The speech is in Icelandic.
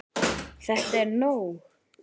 ÞETTA ER NÓG!